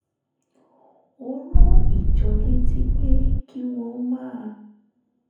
ó rán ìjọ létí pé kí wọ́n máa